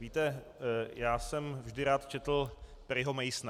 Víte, já jsem vždy rád četl Perryho Masona.